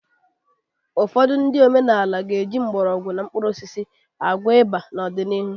Ụfọdụ ndị omenaala ga-eji mgbọrọgwụ na mkpuru osisi na ịba na-eme n'ọdịnihu